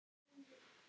Ég man þetta ekki.